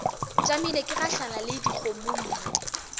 tšamile ke gahlana le dikgomommuu